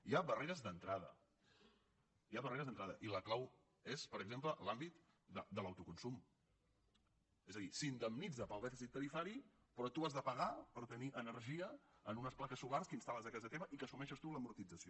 hi ha barreres d’entrada i la clau és per exemple l’àmbit de l’autoconsum és a dir s’indemnitza pel dèficit tarifari però tu has de pagar per tenir energia en unes plaques solars que instal·les a casa teva i que n’assumeixes tu l’amortització